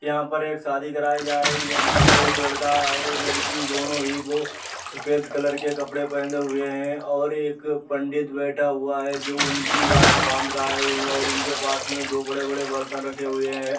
यहाँ पर एक शादी कराई जा रही है। जिसमे एक लड़का और एक लड़की दोनों ही बो सफेद कलर के कपड़े पहनदे हुए हैं और एक पंडित बैठा हुआ है जो उनकी गाँठ बांध रहा है और उनके पास मे दो बड़े-बड़े बर्तन रखे हुए हैं।